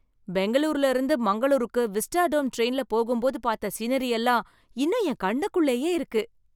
பெங்களூருல இருந்து மங்களூருக்கு விஸ்டாடோம் டிரைன்ல போகும்போது பார்த்த சீனரி எல்லாம் இன்னும் என் கண்ணுக்குள்ளயே இருக்கு.